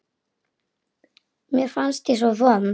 Mér fannst ég svo vond.